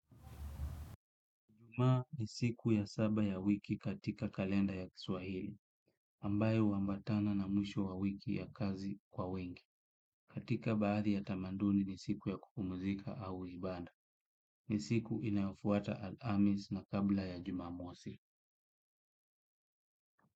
Ijumaa ni siku ya saba ya wiki katika kalenda ya Kiswahili ambayo huambatana na mwisho wa wiki ya kazi kwa wengi. Katika baadhi ya tamaduni ni siku ya kupumzika au ibada. Ni siku inayofuata Alhamisi na kabla ya Jumamosi.